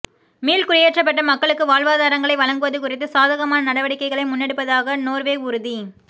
மீள்குடியேற்றப்பட்ட மக்களுக்கு வாழ்வாதாரங்களை வழங்குவது குறித்து சாதகமான நடவடிக்கைகளை முன்னெடுப்பதாக நோர்வே உறுதி